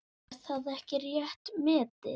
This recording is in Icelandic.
Er það ekki rétt metið?